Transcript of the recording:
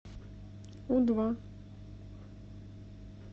у два